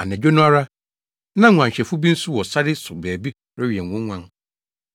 Anadwo no ara, na nguanhwɛfo bi nso wɔ sare so baabi rewɛn wɔn nguan.